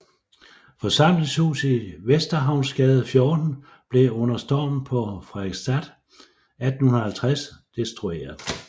Forsamlingshuset i Vesterhavnsgade 14 blev under Stormen på Frederiksstad 1850 destrueret